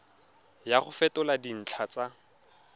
ya go fetola dintlha tsa